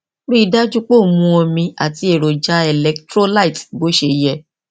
rí i dájú pé ò ń mu omi àti èròjà electrolyte bó ṣe yẹ